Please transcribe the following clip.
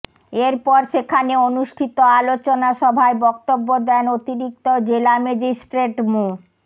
এরপর সেখানে অনুষ্ঠিত আলোচনা সভায় বক্তব্য দেন অতিরিক্ত জেলা ম্যাজিট্রেট মো